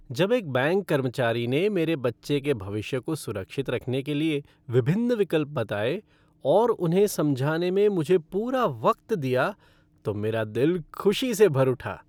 जब एक बैंक कर्मचारी ने मेरे बच्चे के भविष्य को सुरक्षित रखने के लिए विभिन्न विकल्प बताए और उन्हें समझाने सें मुझे पूरा वक्त दिया तो मेरी दिल खुशी से भर उठा।